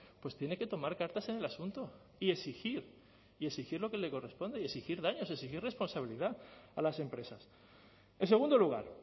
pues tiene que tomar cartas en el asunto y exigir y exigir lo que le corresponde y exigir daños exigir responsabilidad a las empresas en segundo lugar